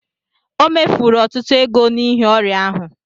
O mefuru ọtụtụ ego n'ihi ọrịa ahụ